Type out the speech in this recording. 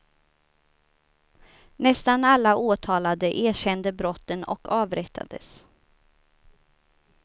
Nästan alla åtalade erkände brotten och avrättades.